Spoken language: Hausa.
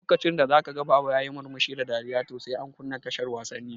Lokacin da zaka ga baba yayi murmushi da dariya to sai an kunna tashar wasanni